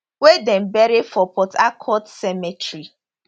wey dem bury for port harcourt cemetery